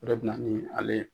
O de bi na ni ale